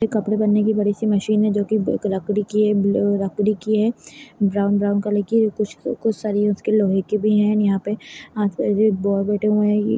ये कपड़े बनने की एक बड़ी सी मशीन है जो की ब-लकड़ी की है ब-लकड़ी की है ब्राउन ब्राउन कलर की कुछ-कुछ सरिया उसके लोहै के भी है एण्ड यहाँ पे बैठे हुए हैं --